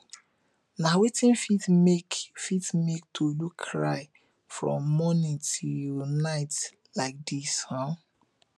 na wetin fit make fit make tolu cry from morning till night like this um